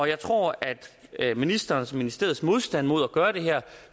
jeg tror at ministerens og ministeriets modstand mod at gøre det her